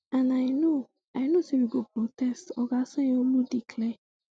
and i know i know say we go protest oga sanyaolu declare